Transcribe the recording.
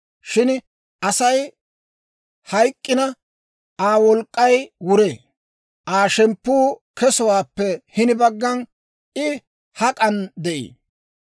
«Shin Asay hayk'k'ina, Aa wolk'k'ay wuree; Aa shemppuu kesowaappe hini baggan, I hak'an de'ii?